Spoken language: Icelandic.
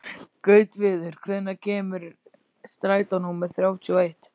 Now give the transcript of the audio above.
Gautviður, hvenær kemur strætó númer þrjátíu og eitt?